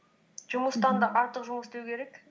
жұмыстан да артық жұмыс деу керек